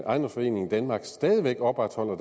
ejendomsforeningen danmark stadig væk opretholder